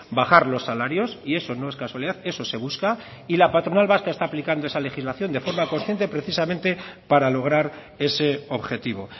bajar los salarios y eso no es casualidad eso se busca y la patronal vasca está aplicando esa legislación de forma consciente precisamente para lograr ese objetivo